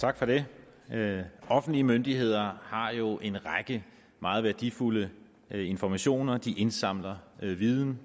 tak for det det offentlige myndigheder har jo en række meget værdifulde informationer de indsamler viden